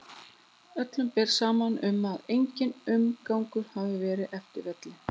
Öllum ber saman um að enginn umgangur hafi verið eftir hvellinn.